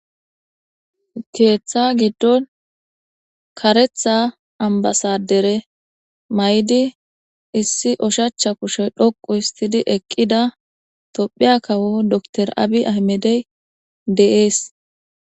Keeththa giddon karetha ambasadere may7di issi oshacha kushey dhoqu histidi eqqida tophiya kawo dor abi aymedey de7ees.